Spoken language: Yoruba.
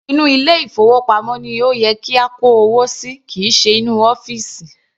Inú ilé ìfowópamọ́ ni ó yẹ kí a kó owó sí kìí ṣe inú ọ́fìsì.